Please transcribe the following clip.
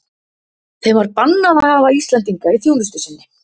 Þeim var og bannað að hafa Íslendinga í þjónustu sinni.